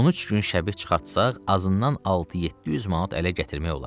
13 gün şəbih çıxartsaq, azından 6-700 manat ələ gətirmək olar.